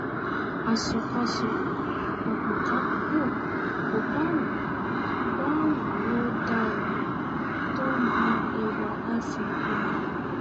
aṣọkáṣọ àpòkápò kò bá wù bá wù ó dára tó á bu ẹwà iphone kù ni